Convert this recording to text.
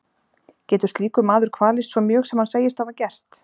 Getur slíkur maður kvalist svo mjög sem hann segist hafa gert?